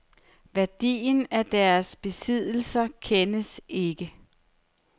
Værdien af deres besiddelser kendes ikke.